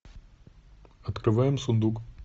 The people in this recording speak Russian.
открываем сундук